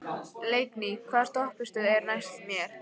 Leikný, hvaða stoppistöð er næst mér?